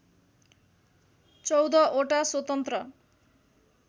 १४ वटा स्वतन्त्र